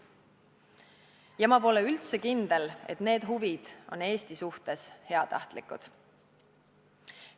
Ja ma pole üldse kindel, et need huvid on Eesti suhtes heatahtlikud.